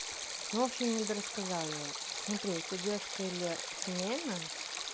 ну в общем недорассказала я смотри у тебя девушка или семейная